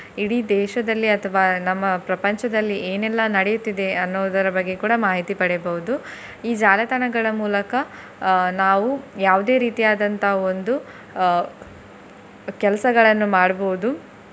ಇಡೀ ದೇಶದಲ್ಲಿ ಅಥವಾ ನಮ್ಮ ಪ್ರಪಂಚದಲ್ಲಿ ಏನೆಲ್ಲಾ ನಡೆಯುತ್ತಿದೆ ಅನ್ನೋದರ ಬಗ್ಗೆ ಕೂಡ ಮಾಹಿತಿ ಪಡೆಯಬಹುದು. ಈ ಜಾಲತಾಣಗಳ ಮೂಲಕ ಅಹ್ ನಾವು ಯಾವುದೇ ರೀತಿಯಾದಂತಹ ಒಂದು ಅಹ್ ಕೆಲಸಗಳನ್ನು ಮಾಡ್ಬೋದು.